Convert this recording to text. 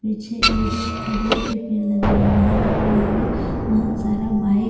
पीछे एगो खजूर के घरा के आगे बहुत सारा बाइक --